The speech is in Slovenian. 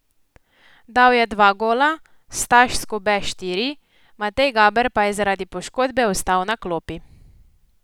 Dal je dva gola, Staš Skube štiri, Matej Gaber pa je zaradi poškodbe ostal na klopi.